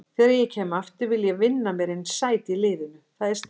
Þegar ég kem aftur vil ég vinna mér inn sæti í liðnu, það er stefnan.